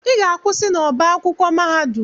Ị ga-akwụsị n'ọbá akwụkwọ mahadum!